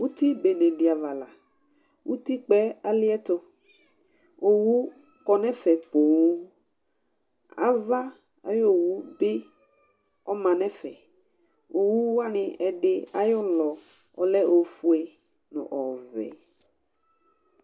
Ɛmɛ lɛ ɛfʋɛdɩ, kʋ namʋ tʋ asɩ ɛla dɩ ta akewele gaze nʋ ɔkʋ nɩ;akʋ namʋ rɔba wɛ, rɔba wɛ la kʋ ekewele ɛkʋ yɛ nʋ ayili nʋ ɔkʋ nɩ bɩ kʋ ɔlɛ nʋ utiUti be nɩ ava la, utikpǝ uɛ alɩɛtʋOwu kɔ nʋ ɛfɛ poo, ava ayʋ owu bɩ ɔma nʋ ɛfɛOwu wanɩ ,ɛdɩ ayʋ ʋlɔ ɔlɛ ofue, nʋ ɔvɛ